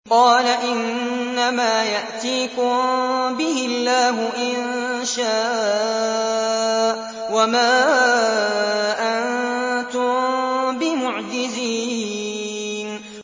قَالَ إِنَّمَا يَأْتِيكُم بِهِ اللَّهُ إِن شَاءَ وَمَا أَنتُم بِمُعْجِزِينَ